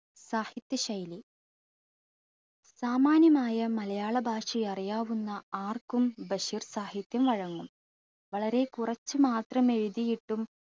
സാഹിത്യശൈലി. സാമാന്യമായ മലയാള ഭാഷയറിയാവുന്ന ആർക്കും ബഷീർ സാഹിത്യം വഴങ്ങും വളരെ കുറച്ചു മാത്രം എഴുതിയിട്ടും